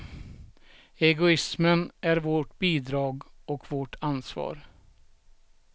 Egoismen är vårt bidrag och vårt ansvar.